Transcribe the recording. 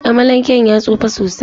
Amalanken ya tsufa sosai.